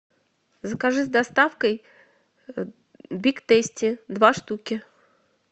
закажи с доставкой биг тейсти два штуки